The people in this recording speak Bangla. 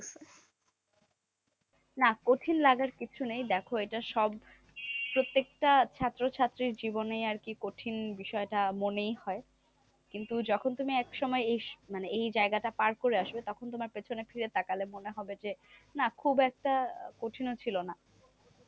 কিন্তু যখন তুমি একসময়ে এই মানে জায়গাটা পার করে আসবে তখন তোমার পেছনে ফিরে তাকালে মনে হবে যে, না খুব একটা কঠিনও ছিল না।